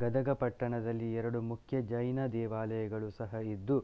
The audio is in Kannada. ಗದಗ ಪಟ್ಟಣದಲ್ಲಿ ಎರಡು ಮುಖ್ಯ ಜೈನ ದೇವಾಲಯಗಳು ಸಹ ಇದ್ದು